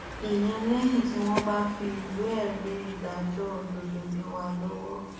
ìyẹn lẹyìn tí wọn bá fi ìwéẹrí ìdájọ òdodo lé wa lọwọ